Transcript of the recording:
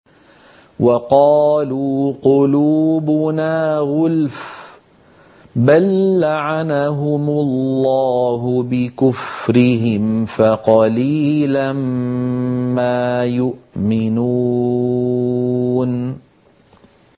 وَقَالُوا قُلُوبُنَا غُلْفٌ ۚ بَل لَّعَنَهُمُ اللَّهُ بِكُفْرِهِمْ فَقَلِيلًا مَّا يُؤْمِنُونَ